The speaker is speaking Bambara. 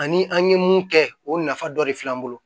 Ani an ye mun kɛ o nafa dɔ de filɛ an bolo